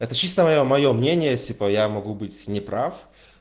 это чисто моё моё мнение типа я могу быть неправ